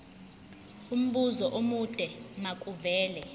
umbuzo omude makuvele